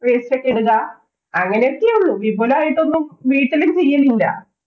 waste ഒക്കെ ഇടുക. അങ്ങനെയൊക്കെ ഉള്ളൂ. വിപുലായിട്ടൊന്നും വീട്ടിലും ചെയ്യലില്ല.